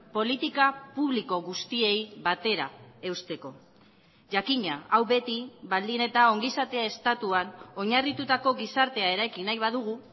politika publiko guztiei batera eusteko jakina hau beti baldin eta ongizatea estatuan oinarritutako gizartea eraiki nahi badugu